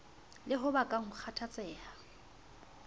le ho bakang ho kgathatseha